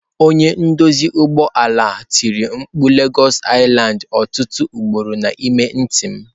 Onye nduzi ụgbọ ala tiri mkpu lagos lsland! Ọtụtụ ugboro N'ime ntị m.